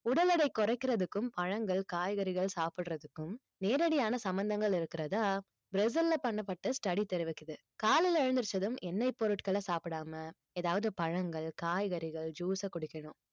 உடல் எடை குறைக்கிறதுக்கும் பழங்கள் காய்கறிகள் சாப்பிடறதுக்கும் நேரடியான சம்மந்தங்கள் இருக்கிறதா பிரேசில்ல பண்ணப்பட்ட study தெரிவிக்குது காலையில எழுந்திரிச்சதும் எண்ணெய் பொருட்கள சாப்பிடாம ஏதாவது பழங்கள் காய்கறிகள் juice அ குடிக்கணும்